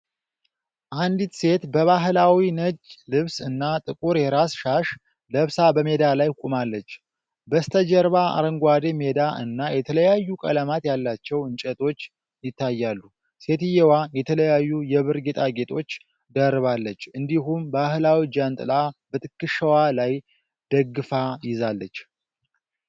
አንዲት ሴት በባህላዊ ነጭ ልብስ እና ጥቁር የራስ ሻሽ ለብሳ በሜዳ ላይ ቆማለች። በስተጀርባ አረንጓዴ ሜዳ እና የተለያዩ ቀለማት ያላቸው እንጨቶች ይታያሉ። ሴትየዋ የተለያዩ የብር ጌጣጌጦች ደርባለች፤ እንዲሁም ባህላዊ ጃንጥላ በትከሻዋ ላይ ደግፋ ይዛለች።